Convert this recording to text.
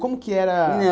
Como que era